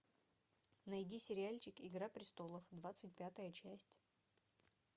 найди сериальчик игра престолов двадцать пятая часть